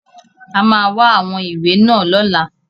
A máa wá àwọn ìwé náà lọ́la.